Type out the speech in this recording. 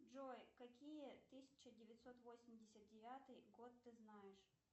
джой какие тысяча девятьсот восемьдесят девятый год ты знаешь